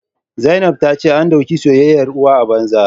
Zainab ta ce an dauke soyayyar uwa a banza